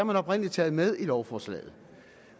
man oprindelig taget med i lovforslaget